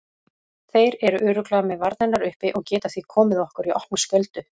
Þeir eru örugglega með varnirnar uppi og geta því komið okkur í opna skjöldu.